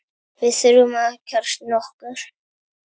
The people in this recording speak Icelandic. Við þurfum að kjarna okkur